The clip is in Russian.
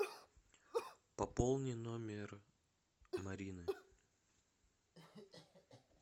пополни номер марины